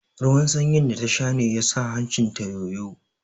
Ruwan sanyin da ta sha ne ya sa hancin ta yoyo